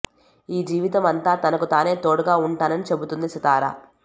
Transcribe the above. ఈ జీవితం అంతా తనకు తానే తోడుగా ఉంటానని చెబుతోంది సితార